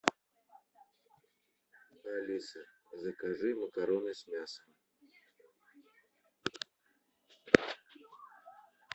алиса закажи макароны с мясом